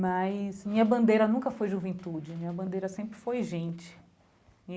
Mas minha bandeira nunca foi juventude, minha bandeira sempre foi gente.